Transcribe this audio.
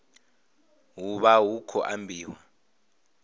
hu vha hu khou ambiwa